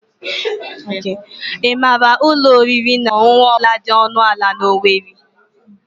Ị maara ụlọ oriri na ọṅụṅụ ọ bụla dị ọnụ ala na owerri?